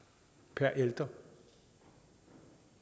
per ældre